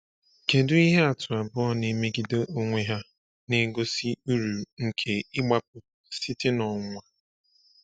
Kedu ihe atụ abụọ na-emegide onwe ha na-egosi uru nke ịgbapụ site n’ọnwụnwa?